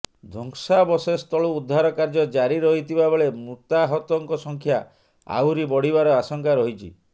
ଧ୍ୱଂସାବଶେଷ ତଳୁ ଉଦ୍ଧାର କାର୍ଯ୍ୟ ଜାରି ରହିଥିବା ବେଳେ ମୃତାହତଙ୍କ ସଂଖ୍ୟା ଆହୁରି ବଢ଼ିବାର ଆଶଙ୍କା ରହିଛି